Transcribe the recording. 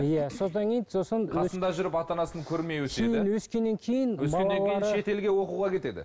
иә содан кейін сосын қасында жүріп ата анасын көрмей өтеді өскеннен кейін шетелге оқуға кетеді